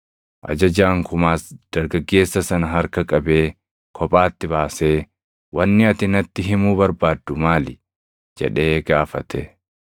Ajajaan kumaas dargaggeessa sana harka qabee kophaatti baasee, “Wanni ati natti himuu barbaaddu maali?” jedhee gaafate.